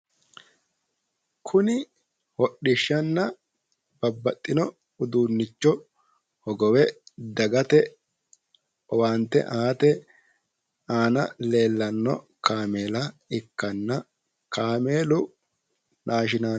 Kuni hodhishanna babbaxino uduunicho hogowe dagate owaante aate aana leellanno kaameela ikkanna kaameelu naashinaale